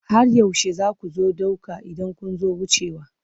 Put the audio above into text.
Har yaushe za ku ɗauka idan kun zo wucewa?